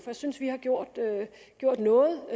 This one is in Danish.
jeg synes vi har gjort noget og